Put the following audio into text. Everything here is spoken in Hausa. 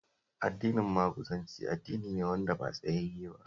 Addinin Maguzanci addini ne wanda ba tsayayye ba